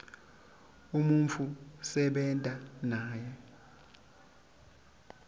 umuntfu losebenta naye